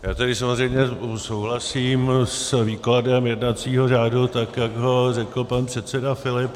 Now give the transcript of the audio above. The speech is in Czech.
Já tady samozřejmě souhlasím s výkladem jednacího řádu, tak jak ho řekl pan předseda Filip.